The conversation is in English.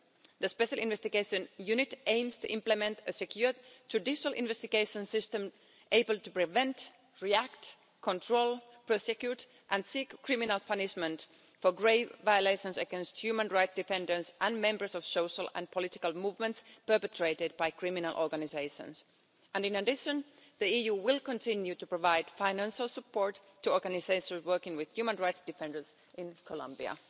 The Special Investigation Unit aims to implement a secure judicial investigation system able to prevent, react, control, prosecute and seek criminal punishment for grave violations against human rights defenders and members of social and political movements perpetrated by criminal organisations. And in addition, the EU will continue to provide financial support to organisations working with human rights defenders in Colombia.